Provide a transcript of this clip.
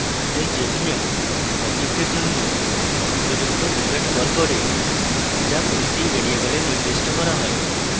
thus jvm object এর জন্য উপযুক্ত method calls করে যা প্রতিটি ভ্যারিয়েবলে নির্দিষ্ট calls হয়